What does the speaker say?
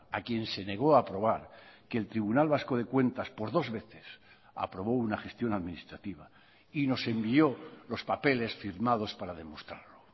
a quien se negó a aprobar que el tribunal vasco de cuentas por dos veces aprobó una gestión administrativa y nos envió los papeles firmados para demostrarlo